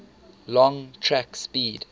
long track speed